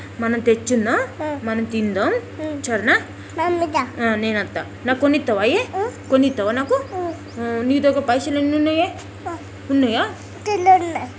మనం తెచ్చుందాం మనం తిందాం. చరేనా ఆ నేను అత్త నాకు కొనిత్తవాయే కొనిత్తవా నాకు ఆ నీ దగ్గర పైసలు ఎన్ని ఉన్నాయే ఉన్నాయా .